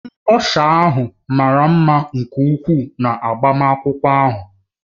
Ndị ọsha ahụ mara mma nke ukwuu na agbamakwụkwọ ahụ